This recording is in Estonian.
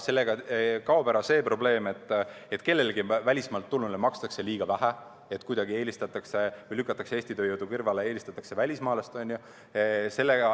Sellega kaob ära see probleem, et kellelegi välismaalt tulnule makstakse liiga vähe, et kuidagi lükatakse Eesti tööjõudu kõrvale, eelistatakse välismaalast.